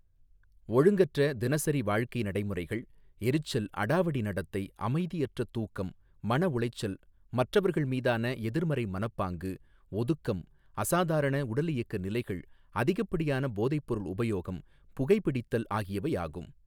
ஒழுங்கற்ற தினசரி வாழ்க்கை நடைமுறைகள் எரிச்சல் அடாவடி நடத்தை அமைதியற்ற தூக்கம் மனஉளைச்சல் மற்றவர்கள் மீதான எதிர்மறை மனப்பாங்கு ஒதுக்கம் அசாதாரண உடலியக்க நிலைகள் அதிகப்படியான போதை பொருள் உபயோகம் புகைபிடித்தல் ஆகியவை ஆகும்.